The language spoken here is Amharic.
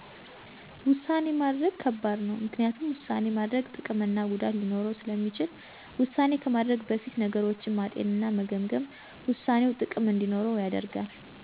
ውሳኔ ማድረግ ከባድ ነው፤ ምክንያቱም ውሳኔ ማድረግ ጥቅምና ጉዳት ሊኖረው ስለሚችል። ውሳኔ ከማድረግ በፊት ነገሮችን ማጤን እና መገምገም ውሳኔው ጥቅም እንዲኖረው ያደርጋል።